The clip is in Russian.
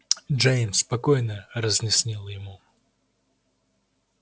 джеймс спокойно разъяснил ему